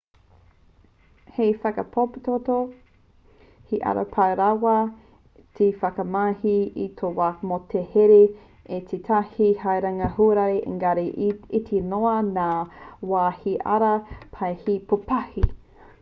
hei whakarāpopoto he ara pai rawa te whakamahi i tō waka mō te haere i tētahi haerenga huarahi engari he iti noa ngā wā he ara pai hei pūpahi